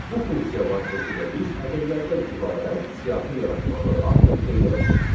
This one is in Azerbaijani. Bu funksiya vasitəsilə biz ədədlərdən ibarət siyahı yaratmağı artıq öyrəndik.